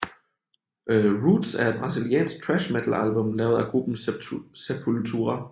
Roots er et Brasiliansk thrash metal album lavet af gruppen Sepultura